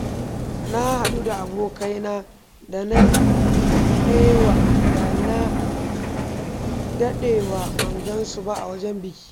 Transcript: Na haɗu da abokaina da na ɗewa da na daɗewa ban gansu ba a wajen biki.